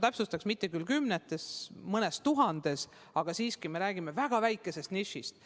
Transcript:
Täpsustan, et mitte kümnetest tuhandetest või mõnest tuhandest, vaid me räägime siiski väga väikesest nišist.